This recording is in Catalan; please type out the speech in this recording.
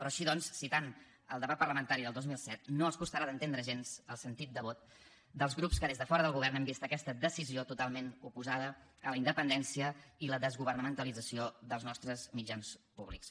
així doncs citant el debat parlamentari del dos mil set no els costarà d’entendre gens el sentit de vot dels grups que des de fora del govern hem vist aquesta decisió totalment oposada a la independència i la desgovernamentalització dels nostres mitjans públics